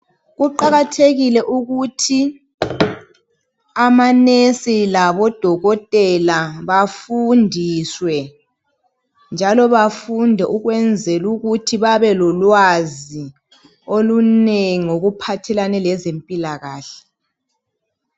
Kuqakathekile ukuthi amanesi labodokotela bafundiswe njalo bafunde ukwenzela ukuthi babelolwazi olunengi ngokuphathelane lezempilakahle.